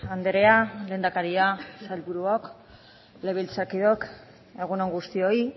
andrea lehendakaria sailburuok legebiltzarkideok egun on guztioi